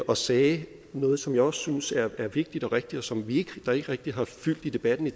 og sagde noget som jeg også synes er vigtigt og rigtigt og som ikke rigtig har fyldt i debatten i